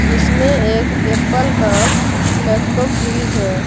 इसमें एक एप्पल का लैपटॉप भी है।